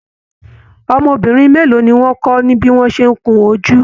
Ọmọbìnrin mélòó ní wọn kọ ní bí wọn ṣe n kún ojú?